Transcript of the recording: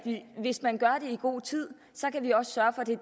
hvis man gør det i god tid kan vi også sørge